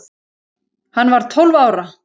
Hann var tólf ára.